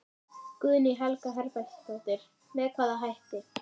Guðný Helga Herbertsdóttir: Með hvaða hætti?